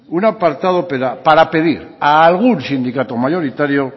un apartado para pedir a algún sindicato mayoritario